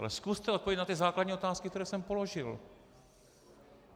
Ale zkuste odpovědět na ty základní otázky, které jsem položil.